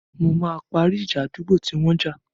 Mo máa parí ìjà àdúgbò tí wọ́n jà.